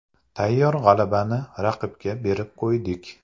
Tayyor g‘alabani raqibga berib qo‘ydik.